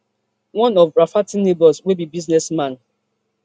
one of rafferty neighbors wey be business man